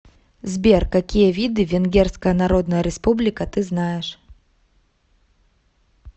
сбер какие виды венгерская народная республика ты знаешь